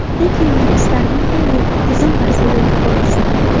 Lekin men istardimki, bu bir tizim tarzida yo‘lga qo‘yilsin.